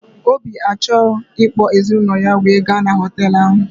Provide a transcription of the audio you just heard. Obi achọghị ịkpọ ezinaụlọ ya were gaa n'hotelu ahụ